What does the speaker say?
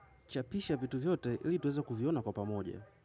Chapisha vitu vyote ili tuweze kuviona kwa pamoje.